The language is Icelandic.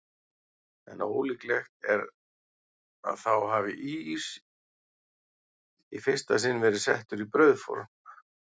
En ólíklegt er að þá hafi ís í fyrsta sinn verið settur í brauðform.